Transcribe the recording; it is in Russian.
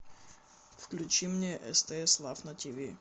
включи мне стс лав на тиви